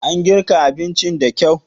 An girka abincin da kyau?